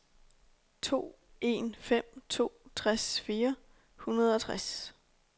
to en fem to tres fire hundrede og tres